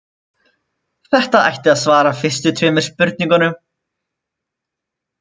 Þetta ætti að svara fyrstu tveimur spurningunum.